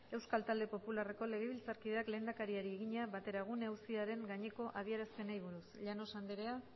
euskal talde popularreko legebiltzarkideak lehendakariari egina bateragune auziaren gaineko adierazpenei buruz llanos andrea